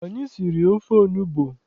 Anyị siri ofe onugbu.